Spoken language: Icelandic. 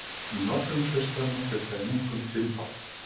Í nokkrum klaustranna fjölgaði munkum fimmfalt.